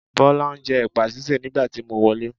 Bọ́lá ń jẹ́ ẹ̀pà sísè nígbà tí mo wọlé.